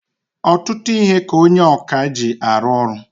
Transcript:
Ọtụtụ ihe ka onye ọkà ji arụ ọrụ.